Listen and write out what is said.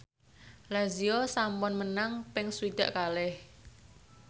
Lazio sampun menang ping swidak kalih